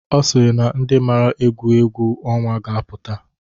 Ọ sịrị na ndị mara egwu egwu ọnwa ga-apụta.